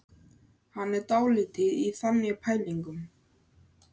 Hann er dálítið í þannig pælingum.